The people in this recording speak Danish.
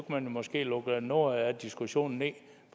man måske lukke noget af diskussionen